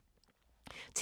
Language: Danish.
TV 2